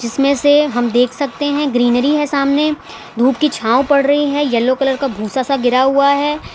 इसमें से हम देख सकते हैं ग्रीनरी है सामने धूप की छांव पड़ रही है येलो कलर का भूसा सा गिरा हुआ है।